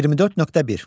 24.1.